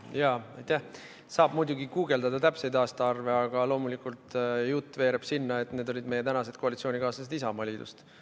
Neid aastaarve saab muidugi guugeldada, aga loomulikult jutt veereb sinna, et need olid meie tänased koalitsioonikaaslased Isamaast.